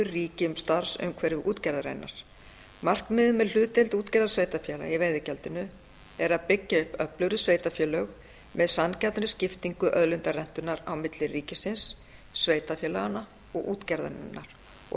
ríki um starfsumhverfi útgerðarinnar markmiðið með hlutdeild útgerðarsveitarfélaga í veiðigjaldinu er að byggja upp öflugri sveitarfélög með sanngjarnri skiptingu auðlindarentunnar á milli ríkisins sveitarfélaganna og útgerðarinnar og